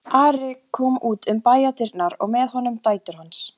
Ari kom út um bæjardyrnar og með honum dætur hans.